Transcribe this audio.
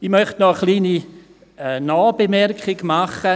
Ich möchte nachträglich noch eine kleine Bemerkung machen: